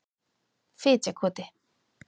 Fitjakoti